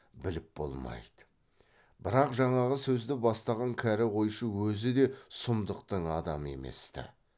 біліп болмайды бірақ жаңағы сөзді бастаған кәрі қойшы өзі де сұмдықтың адамы емес ті